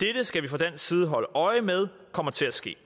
dette skal vi fra dansk side holde øje med kommer til at ske